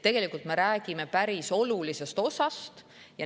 Me räägime päris olulisest ravimituru osast.